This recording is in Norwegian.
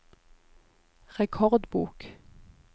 rekordbok